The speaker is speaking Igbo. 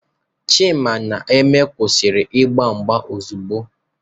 Chima na Eme kwụsị ịgba mgba ozugbo!